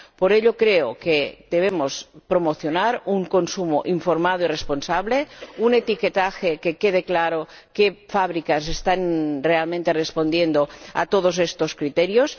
Por ello, creo que debemos promocionar un consumo informado y responsable, un etiquetaje en el que quede claro qué fábricas están realmente respondiendo a todos estos criterios.